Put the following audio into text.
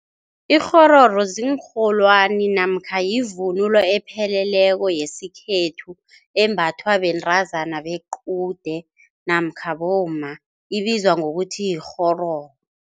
Ikghororo ziinrholwani namkha yivunulo epheleleko yesikhethu, embathwa bentazana bequde namkha bomma, ibizwa ngokuthi yikghororo.